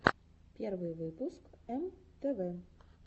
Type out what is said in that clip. первый выпуск эм тэ вэ